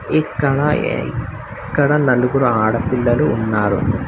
ఇక్కడ ఏయ్ ఇక్కడ నలుగురు ఆడపిల్లలు ఉన్నారు